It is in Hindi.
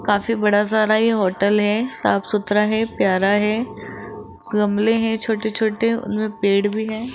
काफी बड़ा सारा ये होटल है साफ सुथरा है प्यारा है गमले हैं छोटे छोटे उनमें पेड़ भी है।